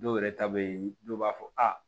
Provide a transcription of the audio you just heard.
Dɔw yɛrɛ ta bɛ ye dɔw b'a fɔ a